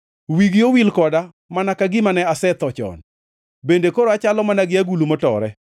Wigi owil koda mana ka gima ne asetho chon bende koro achalo mana gi agulu motore.